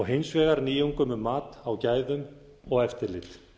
hins vegar nýjungum um mat á gæðum og eftirlit